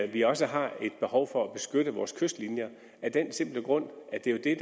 vi også har behov for at beskytte vores kystlinjer af den simple grund at det er